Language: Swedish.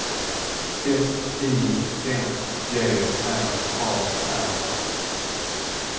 F I N G R A R